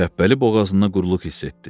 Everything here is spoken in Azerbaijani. Şəhbəli boğazında qurluq hiss etdi.